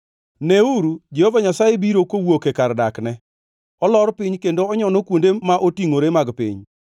Neuru! Jehova Nyasaye biro kowuok e kar dakne; olor piny kendo onyono kuonde ma otingʼore mag piny.